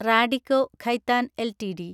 Radico Khaitan LTD